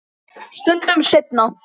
Stundum seinna.